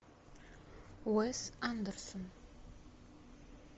уэс андерсон